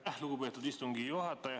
Aitäh, lugupeetud istungi juhataja!